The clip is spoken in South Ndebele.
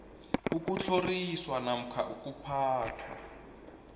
ukutlhoriswa namkha ukuphathwa